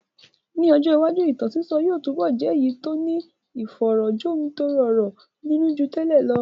Ní ọjọ́ iwájú, ìtàn sísọ yóò túbọ̀ jẹ́ èyí tó ní ìfọ̀rọ̀ jomitoro ọ̀rọ̀ nínú ju tẹ́lẹ̀ lọ.